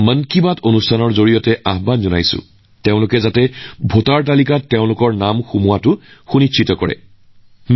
মন কী বাতৰ জৰিয়তে মই মোৰ প্ৰথমবাৰৰ ভোটাৰসকলক কম যে তেওঁলোকৰ নাম নিশ্চিতভাৱে ভোটাৰ তালিকাত যোগ কৰক